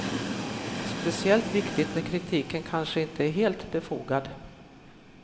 Speciellt viktigt när kritiken kanske inte är helt befogad.